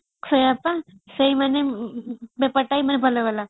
ସେଇୟା ବା ସେଇମାନେ ବେପାର timeରେ ଭଲଗଲା